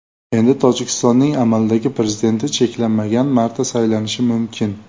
Endi Tojikistonning amaldagi prezidenti cheklanmagan marta saylanishi mumkin.